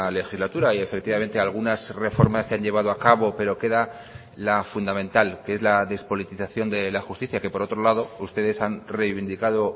legislatura y efectivamente algunas reformas se han llevado a cabo pero queda la fundamental que es la despolitización de la justicia que por otro lado ustedes han reivindicado